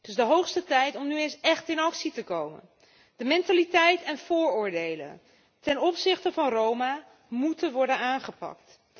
Het is de hoogste tijd om nu eens echt in actie te komen. De mentaliteit en vooroordelen ten opzichte van Roma moeten worden aangepakt.